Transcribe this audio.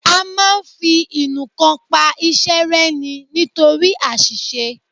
A máa ń fi ìnuǹkan pa iṣẹ́ rẹ́ ni nítorí àṣìṣe